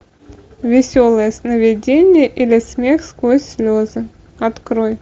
веселые сновидения или смех сквозь слезы открой